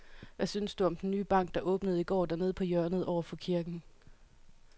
Hvad synes du om den nye bank, der åbnede i går dernede på hjørnet over for kirken?